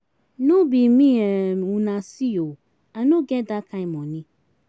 No be me um una see ooo, I no get dat kin money.